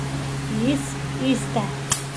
Iz iste!